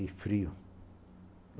E frio.